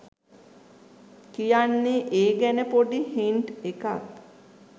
කියන්නෙ ඒ ගැන පොඩි හින්ට් එකක්